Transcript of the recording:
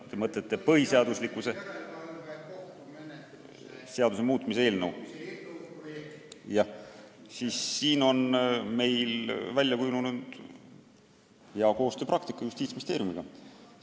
Kui te mõtlete põhiseaduslikkuse järelevalve kohtumenetluse seaduse muutmise eelnõu, siis märgin, et meil on välja kujunenud hea koostöö Justiitsministeeriumiga.